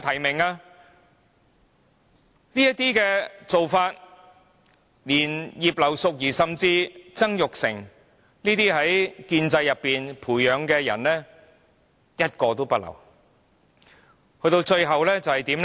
這做法令葉劉淑儀議員甚至曾鈺成等由建制培養的人士皆無法"入閘"。